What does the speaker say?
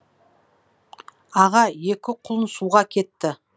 аға екі құлын суға кетті